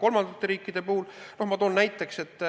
Kolmandate riikide puhul ma toon näiteks, et